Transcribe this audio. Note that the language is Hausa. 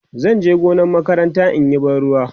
zanje gonar makaranta inyi ban ruwa